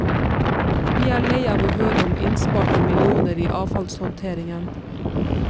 Vi er lei av å høre om innsparte millioner i avfallshåndteringen.